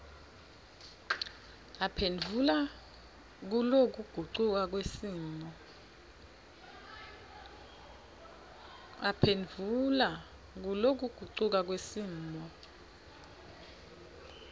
aphendvula kulokugucuka kwesimo